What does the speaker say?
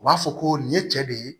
U b'a fɔ ko nin ye cɛ de ye